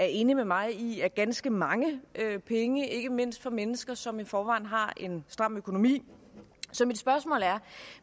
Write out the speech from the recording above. enig med mig i er ganske mange penge ikke mindst for mennesker som i forvejen har en stram økonomi så mit spørgsmål er